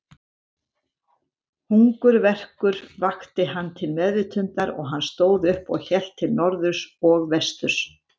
Hungurverkur vakti hann til meðvitundar og hann stóð upp og hélt til norðurs og vesturs.